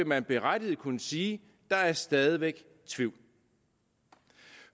man berettiget kunne sige der er stadig væk tvivl